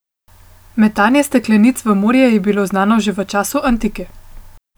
Metanje steklenic v morje je bila znano že v času antike.